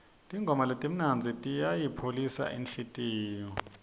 tingoma letimnandzi tiyayipholisa inhlitiyo